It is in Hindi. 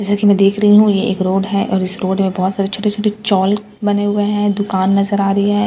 जैसा की मैं देख रही हु ई एक रोड है और इस रोड मैं बोहोत सारे छोटे छोटे चोल बने हुए हैं दुकान नजर आ रही है एक--